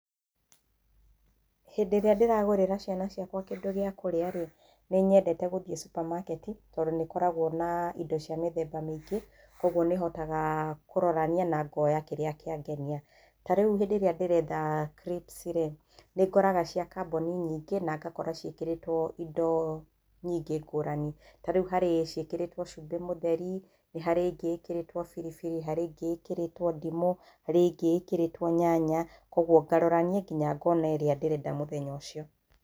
Hĩndĩ ĩrĩa ndĩragũrĩra ciana ciakwa kĩndũ gĩa kũrĩa rĩ, nĩnyendete gũthiĩ Supermarket tondũ nĩikoragwo na indo cia mĩthemba mĩingĩ koguo nĩhotaga kũrorania nangoya kĩrĩa kĩangenia. Tarĩũ hĩndĩ ĩrĩa ndĩrenda crips rĩ, nĩngoraga cia kambunĩ nyingĩ nangakora ciĩkĩrĩtwo indo nyingĩ ngũrani. Tarĩũ harĩ ciĩkĩrĩtwo cumbĩ mũtherĩ, nĩharĩ ĩngĩ ĩkĩrĩtwo biribiri harĩ ĩngĩ ĩkĩrĩtwo ndimũ harĩ ĩngĩ ĩkĩrĩtwo nyanya koguo ũkarorania nginya ngona ĩrĩa ndĩrenda mũthenya ũcio.